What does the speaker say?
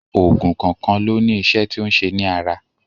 Oògùn kọ̀ọ̀kan ló ní iṣẹ́ tí ó ń ṣe ní ara.